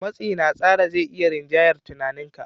Matsi na tsara zai iya rinjayar tunaninka.